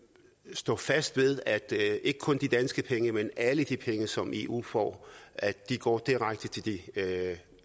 stå fast ved at ikke kun de danske penge men alle de penge som eu får går direkte til de